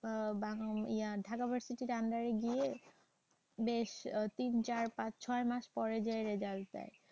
আহ ঢাকা ভার্সিটির under এ গিয়ে বেশ তিন চার পাঁচ ছয় মাস পরে যাইয়া result দেয়।